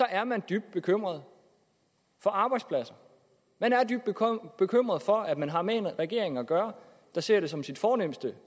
er man dybt bekymret for arbejdspladser man er dybt bekymret for at man har med en regering at gøre der ser det som sit fornemste